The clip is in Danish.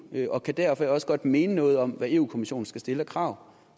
og kan derfor også godt mene noget om hvad europa kommissionen skal stille af krav